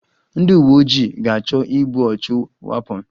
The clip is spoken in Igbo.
Ndị uwe ojii ga-achọ igbu ọchụ wapon